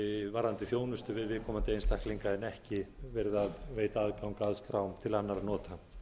varðandi þjónustu við viðkomandi einstaklinga en ekki verið að veita aðgang að skrám til annarra nota